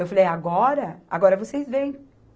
Eu falei, agora, agora vocês vêm.